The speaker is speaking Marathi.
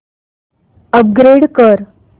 अपग्रेड कर